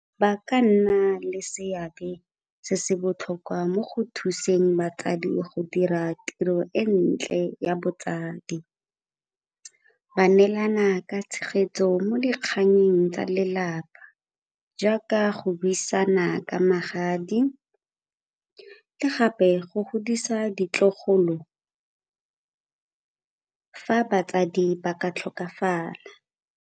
Ba ka nna le seabe se se botlhokwa mo go thuseng batsadi go dira tiro e ntle ya botsadi. Ba neelana ka tshegetso mo dikganyeng tsa lelapa jaaka go buisana ka magadi le gape go godisa ditlogolo fa batsadi ba ka tlhokafala.